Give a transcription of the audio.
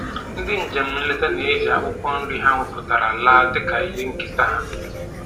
Ndị njem nleta na-eji akwụkwọ nri ha wepụtara laa dịka ihe nketa ha